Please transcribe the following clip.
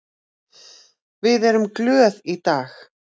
Við erum glöð í dag.